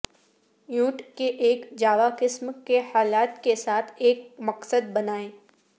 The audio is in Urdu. ایونٹ کے ایک جاوا قسم کے حالات کے ساتھ ایک مقصد بنائیں